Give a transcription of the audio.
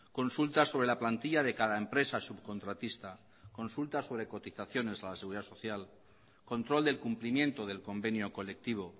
consultas sobre la plantilla de cada empresa subcontratista consultas sobre cotizaciones a la seguridad social control del cumplimiento del convenio colectivo